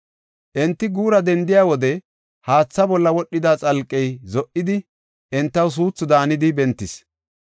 Enti guura dendiya wode haatha bolla wodhida xalqey zo77idi, entaw suuthu daanidi bentis.